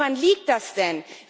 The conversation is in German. Woran liegt das denn?